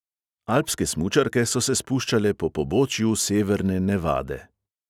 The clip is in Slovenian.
Alpske smučarke so se spuščale po pobočju severne nevade.